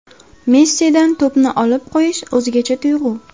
Messidan to‘pni olib qo‘yish o‘zgacha tuyg‘u.